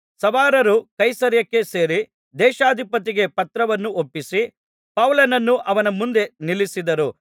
ಸವಾರರು ಕೈಸರೈಯಕ್ಕೆ ಸೇರಿ ದೇಶಾಧಿಪತಿಗೆ ಪತ್ರವನ್ನು ಒಪ್ಪಿಸಿ ಪೌಲನನ್ನು ಅವನ ಮುಂದೆ ನಿಲ್ಲಿಸಿದರು